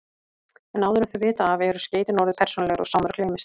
En áður en þau vita af eru skeytin orðin persónulegri og Sámur gleymist.